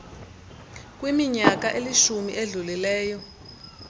kwiminyaka elishumi edlulileyo